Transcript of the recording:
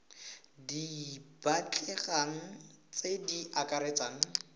di batlegang tse di akaretsang